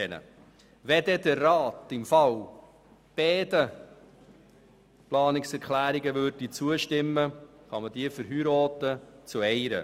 Wenn der Rat den beiden Planungserklärungen zustimmen würde, könnten sie wieder verheiratet werden.